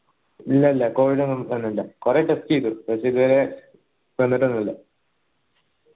ഇല്ല ഇല്ല covid ഒന്നു വന്നില്ല കൊറേ test ചെയ്തു പക്ഷെ ഇതേവരെ വന്നിട്ടൊന്നില്ല